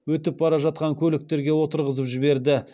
өтіп бара жатқан көліктерге отырғызып жіберді